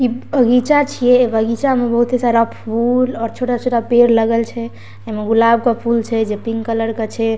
ई बगीचा छिए बगीचा में बहुते सारा फूल और छोटा-छोटा पेड़ लागल छे इमें गुलाब के फूल छे जे पिंक कलर के छे।